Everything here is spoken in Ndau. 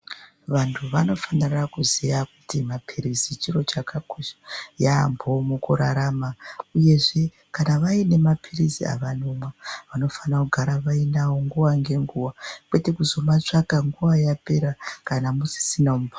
Vantu vanofanira kuziya kuti mapirisi chiro chakakosha yaambho mukurarama uyezve kana vainemapirisi avanonwa vanofana kugara vainawo nguva ngenguva, kwete kuzomatsvaga nguva yapera kana musisina mumba.